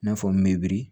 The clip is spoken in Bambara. I n'a fɔ meri